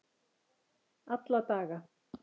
alla daga